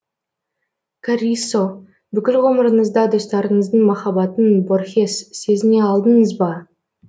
каррисо бүкіл ғұмырыңызда достарыңыздың махаббатын борхес сезіне алдыңыз ба